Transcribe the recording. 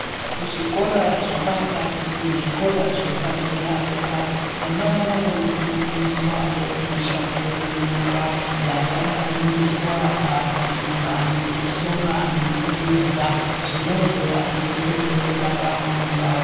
Mu zvikora zve pakati ne zvikora zvepa dera dera vana vano fundiswawo mishando ye nyara yakadai ngeku aka kubika neku sona neku veza zvinozo vadetsere ndaramo yavo.